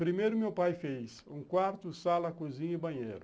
Primeiro, meu pai fez um quarto, sala, cozinha e banheiro.